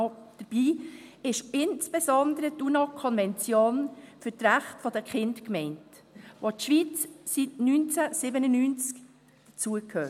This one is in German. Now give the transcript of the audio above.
Dabei ist insbesondere die UNO-Konvention für die Kinderrechte gemeint, zu der die Schweiz seit 1997 dazugehört.